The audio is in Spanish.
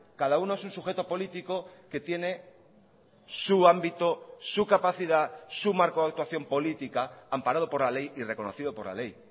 cada uno es un sujeto político que tiene su ámbito su capacidad su marco de actuación política amparado por la ley y reconocido por la ley